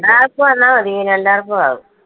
ഒരാൾക്ക് വന്നാൽ മതി പിന്നെ എല്ലാവർക്കും ആകും.